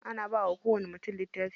Ana bawa kowani mutum littafi.